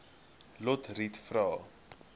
lotriet vra